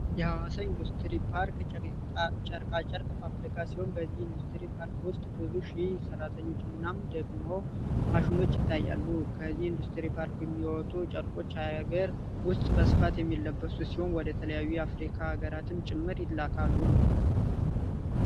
የሀዋሳ ኢንዱስትሪ ፓርክ ጨርቃጨርቅ ፋብሪካ ሲሆን በዚህ ኢንዱስትሪ ፓርክ ውስጥ ብዙ ሺህ ሰራተኞች እናም ደግሞ ማሸኖች ይታያሉ። ከዚህ ኢንዱስትሪ ፓርክ ሚወጡ ጨርቆች ሃገር ውስጥ በስፋት የሚለብሱ ሲሆን ወደ ተለያዩ የአፍሪካ ሀገራትም ጭምር ይላካሉ።